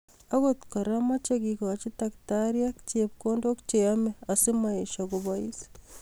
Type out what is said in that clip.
Akot kora, moche kekoch taktariek chepkondok che yemei asimoesho kobois